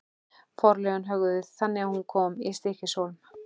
Forlögin höguðu því þannig að hún kom í Stykkishólm.